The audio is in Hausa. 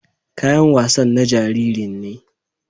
Kayan wasan na jaririn ne.